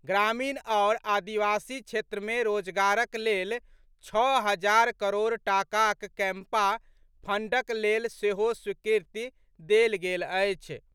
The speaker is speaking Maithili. ग्रामीण आओर आदिवासी क्षेत्र मे रोजगारक लेल छओ हजार करोड़ टाकाक कैंपा फंडक लेल सेहो स्वीकृति देल गेल अछि।